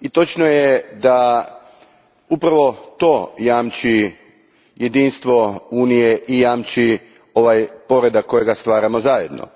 i točno je da upravo to jamči jedinstvo Unije i jamči ovaj poredak koji stvaramo zajedno.